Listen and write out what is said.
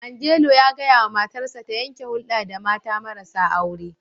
Angelo ya gaya wa matarsa ta yanke hulda da mata marasa aure.